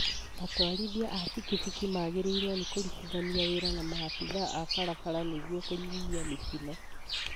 Atwarithia a bikibiki magĩrĩirwo nĩ kũrutithania wĩra na maabitha a barabara nĩguo kũnyihia mĩtino